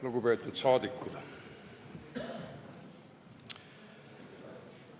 Lugupeetud saadikud!